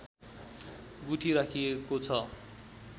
गुठी राखिएको छ